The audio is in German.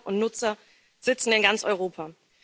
Täter und Nutzer sitzen in ganz Europa.